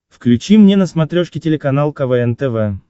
включи мне на смотрешке телеканал квн тв